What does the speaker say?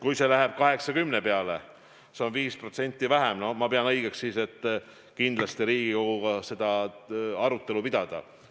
Kui see läheb 80% peale – see on 5% vähem –, siis ma pean õigeks kindlasti Riigikoguga seda arutada.